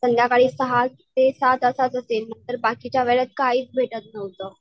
संध्याकाळी सहा ते सात तर बाकीच्या वेळेत काहीच भेटत नव्हतं.